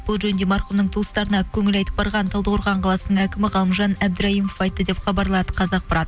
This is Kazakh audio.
бұл жөнінде марқұмның туыстарына көңіл айтып барған талдықорған қаласының әкімі ғалымжан әбдіраймов айтты деп хабарлады қазақпарат